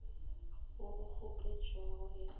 wo o kgopetšwego e ka